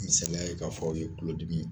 Misaliya ye k'a fɔ aw ye tulodimi